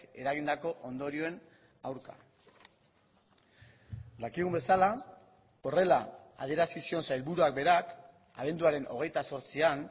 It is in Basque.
eragindako ondorioen aurka dakigun bezala horrela adierazi zion sailburuak berak abenduaren hogeita zortzian